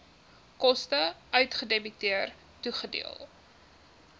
koste uitgedebiteer toegedeel